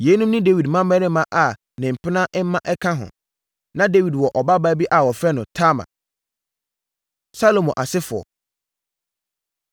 Yeinom ne Dawid mmammarima a ne mpena mma nka ho. Na Dawid wɔ ɔbabaa bi a wɔfrɛ no Tamar. Salomo Asefoɔ